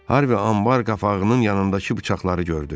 Harvi anbar qapağının yanındakı bıçaqları gördü.